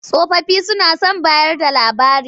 Tsofaffi suna son bayarda labari.